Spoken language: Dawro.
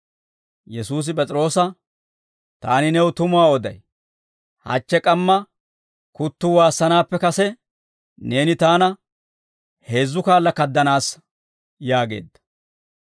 Yesuusi P'es'iroosa, «Taani new tumuwaa oday; hachche k'amma kuttuu waassanaappe kase, neeni taana heezzu kaala kaadanaassa» yaageedda.